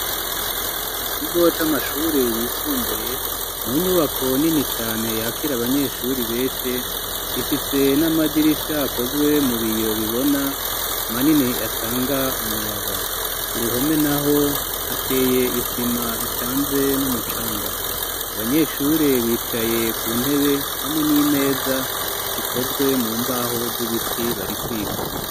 Mu kigo c'amashuri yisumbuye mu nyubako nini cane yakire abanyeshuri beshi ifise n'amadirisha akozwe mu biyo bibona manini atanga umuyaga kuruhome naho hateye isima icanze n'umucanga abanyeshure bicaye ku ntebe hamwe n'imeza zikozwe mu mbaho z'ibiti bari kwiga .